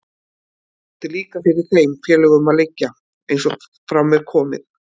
Það átti líka fyrir þeim félögunum að liggja, eins og fram er komið.